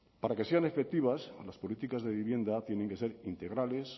para que sean efectivas a las políticas de vivienda tienen que ser integrales